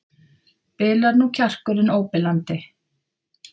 Bilar nú kjarkurinn óbilandi?